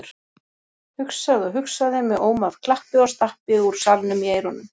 Hugsaði og hugsaði með óm af klappi og stappi úr salnum í eyrunum.